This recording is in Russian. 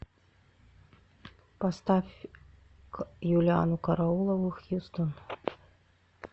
поставь юлианну караулову хьюстон